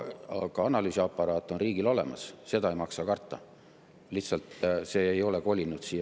Aga analüüsiaparaat on riigil olemas, ei maksa karta,.